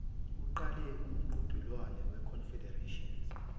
kuqale umqhudelwano weconfederations